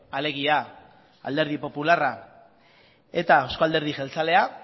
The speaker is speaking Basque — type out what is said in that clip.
alegia alderdi popularra eta euzko alderdi jeltzalea